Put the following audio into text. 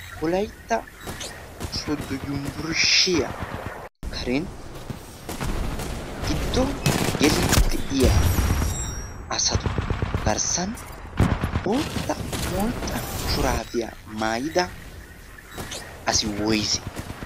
wolaitta sodo yubburshshiyaa karen giddo geliidi de7iya asatu garssan bootta molxxa shuraabiyaa maayida asi woyise?